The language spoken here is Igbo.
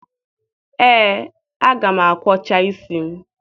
Ee, aga m akwọcha isi m